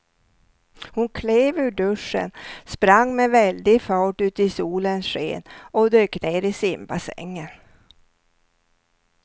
Hon klev ur duschen, sprang med väldig fart ut i solens sken och dök ner i simbassängen.